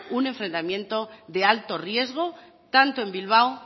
un enfrentamiento de alto riesgo tanto en bilbao